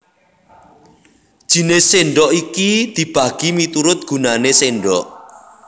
Jinis sèndhok iki dibagi miturut gunané sèndhok